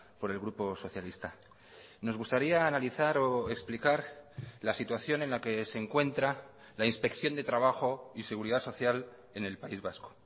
por el grupo socialista nos gustaría analizar o explicar la situación en la que se encuentra la inspección de trabajo y seguridad social en el país vasco